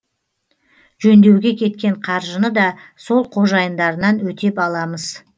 жөндеуге кеткен қаржыны да сол қожайындарынан өтеп аламыз